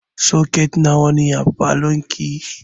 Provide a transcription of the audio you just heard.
Soket nawa ne a falon ki?